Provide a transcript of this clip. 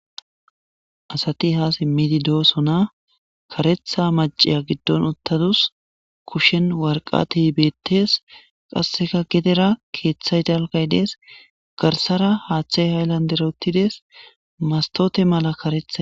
Asati ha simi dosona karetha maciya gidon utadusu kushen waraqata betes qaseka gedera kethay dalgay des garsara hathey haylandera utides mastote mala karethay